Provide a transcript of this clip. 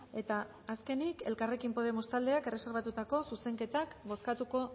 eta azkenik elkarrekin podemos taldeak erreserbatutako zuzenketak bozkatuko